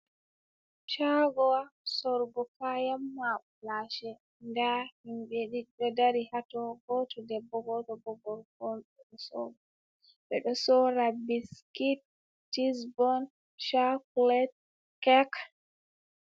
Shagowa sorugo kayan makulashe. Ɗa himbe ɗiɗi ɗo ɗari haton. Goto ɗebbo goto bo gorko on. Beɗo sora biskit, tisbon shakulet kek.